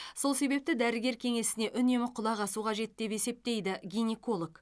сол себепті дәрігер кеңесіне үнемі құлақ асу қажет деп есептейді гинеколог